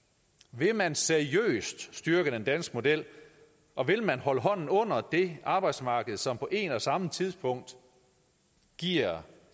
vil man seriøst styrke den danske model og vil man holde hånden under det arbejdsmarked som på en og samme tid giver